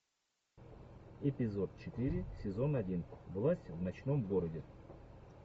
эпизод четыре сезон один власть в ночном городе